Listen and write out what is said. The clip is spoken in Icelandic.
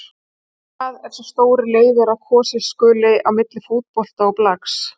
En hvað ef sá stóri leyfir að kosið skuli á milli fótbolta og blaks.